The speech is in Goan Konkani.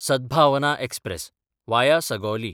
Sadbhavna express (via Sugauli)